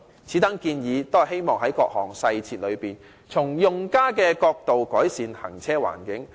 此等建議均希望在各項細節中，從用家角度改善行車環境。